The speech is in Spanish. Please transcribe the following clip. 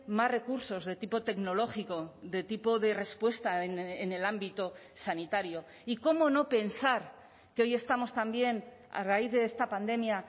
más recursos de tipo tecnológico de tipo de respuesta en el ámbito sanitario y cómo no pensar que hoy estamos también a raíz de esta pandemia